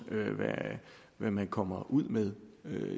hvad man kommer ud med